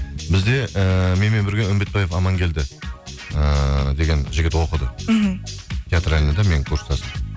бізде ііі менмен бірге үмбітпаев амангелді ыыы деген жігіт оқыды мхм театральныйда менің курстасым